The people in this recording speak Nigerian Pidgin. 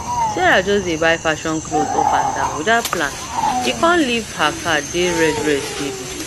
sarah just dey buy fashion clothes up and down without plan e come leave her card dey red red steady